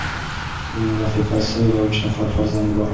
Uning rafiqasi va uch nafar farzandi bor.